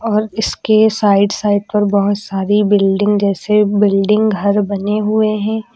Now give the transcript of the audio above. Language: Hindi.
और इसके साइड साइड पर बहोत सारी बिल्डिंग जैसे बिल्डिंग घर बने हुए हैं।